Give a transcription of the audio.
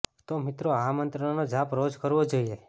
તો મિત્રો આ મંત્રનો જાપ રોજ કરવો જોઈએ